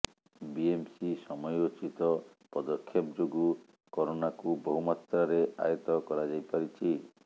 BMC ସମୟୋଚିତ ପଦକ୍ଷେପ ଯୋଗୁଁ କରୋନାକୁ ବହୁ ମାତ୍ରାରେ ଆୟତ୍ତ କରାଯାଇପାରିଛି